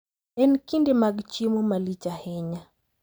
En kinde mag chiemo malich ahinya.